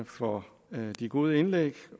for de gode indlæg